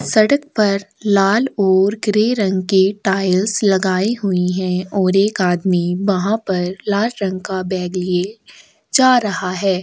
सड़क पर लाल और ग्रे रंग के टाइल्स लगाई हुई है और एक आदमी वहाँ पर लाल रंग का बैग लिए जा रहा है।